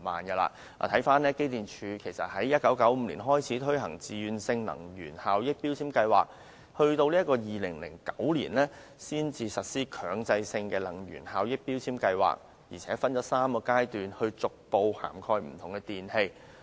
機電工程署在1995年開始推行自願性能源效益標籤計劃，到2009年才實施強制性標籤計劃，又分3個階段逐步涵蓋不同的電器。